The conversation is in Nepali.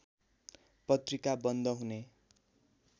पत्रिका बन्द हुने